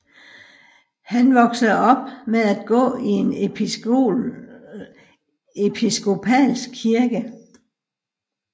Han voksede op med at gå i en Episkopalsk kirke